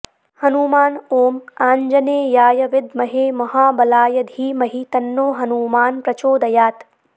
हनुमान ॐ आंजनेयाय विद्महे महाबलाय धीमहि तन्नो हनूमान् प्रचोदयात्